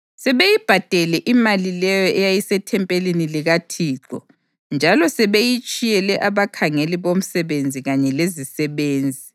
Sebeyibhadele imali leyo eyayisethempelini likaThixo njalo sebeyitshiyele abakhangeli bomsebenzi kanye lezisebenzi.”